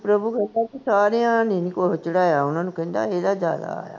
ਪ੍ਰਭੂ ਕਹਿੰਦਾ ਸਾਰਿਆਂ ਨੇ ਨੀ ਕੁਛ ਚੜ੍ਹਾਇਆ, ਓਹਨਾ ਨੂੰ ਕਹਿੰਦਾ ਇਹਦਾ ਜ਼ਿਆਦਾ ਆਇਆ